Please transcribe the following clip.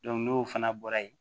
n'o fana bɔra yen